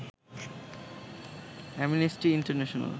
amnesty international